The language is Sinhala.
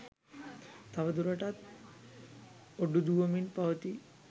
තව දුරටත් ඔඩු දුවමින් පවතී